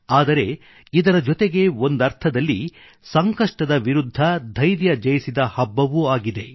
ಆದರೆ ಇದರ ಜೊತೆಗೆ ಒಂದರ್ಥದಲ್ಲಿಸಂಕಷ್ಟ ಕಾಲದಲ್ಲಿ ಧೈರ್ಯ ಜಯಿಸಿದ ಹಬ್ಬವೂ ಆಗಿದೆ